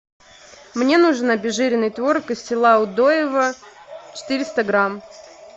мне нужен обезжиренный творог из села удоево четыреста грамм